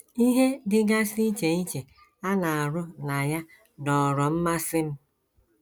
“ Ihe dịgasị iche iche a na - arụ na ya dọọrọ mmasị m.